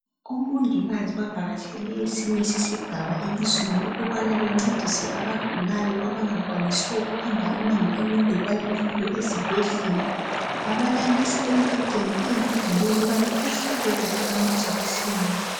Omongikazi bavakatshele esinye sesigaba elizweni ukubana bencedise abagulayo abangakwanisiyo ukuhamba imango emide ukubana befike ezibhedlela babalalisa embhedeni eyiblue ukubana bebahlabe kuhle amajekiseni.